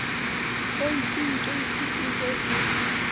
keiting keiti e be e